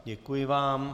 Děkuji vám.